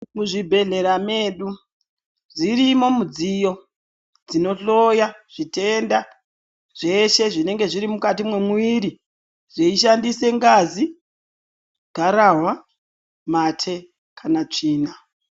Muzvibhedhlera medu dzirimo mudziyo dzinohloya zvitenda zveshe zvinenge zviri mukati memuviri zvichishandisa ngazi garahwa mate kana tsvina.